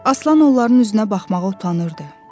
Aslan onların üzünə baxmağa utanırdı.